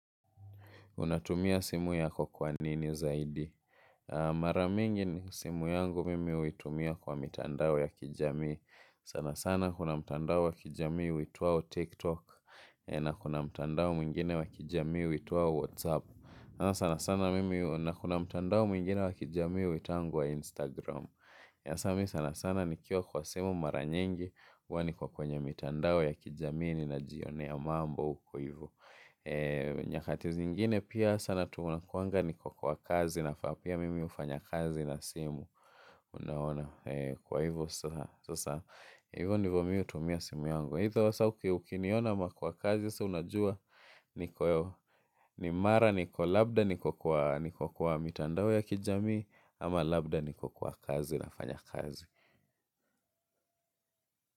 Unatumia simu yako kwa nini zaidi. Mara mingi ni simu yangu mimi huitumia kwa mitandao ya kijamii. Sana sana kuna mtandao wa kijami uitwao TikTok. Na kuna mtandao mwingine wa kijamii uitwao WhatsApp. Sana sana mimi na kuna mtandao mwingine wa kijamii huitangwa Instagram. Sas mimi sana sana nikiwa kwa simu maranyingi. Huwa niko kwenye mitandao ya kijamii ninajionea mambo huko hivo. Nyakati zingine pia sana tu nakuanga niko kwa kazi na pia mimi hufanya kazi na simu. Unaona kwa hivyo sasa. Hivyo ndivo mimi hutumia simu yangu either sasa ukiniona ama kwa kazi sasa unajua. Ni mara niko labda niko kwa mitandao ya kijamii. Ama labda niko kwa kazi nafanya kazi.